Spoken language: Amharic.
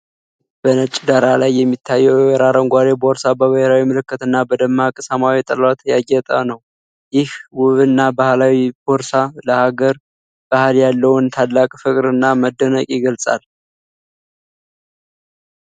በነጭ ዳራ ላይ የሚታየው የወይራ አረንጓዴ ቦርሳ፣ በብሔራዊ ምልክትና በደማቅ ሰማያዊ ጥለት ያጌጠ ነው። ይህ ውብና ባህላዊ ቦርሳ ለሀገር ባህል ያለንን ታላቅ ፍቅርና መደነቅ ይገልጻል።